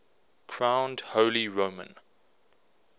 crowned holy roman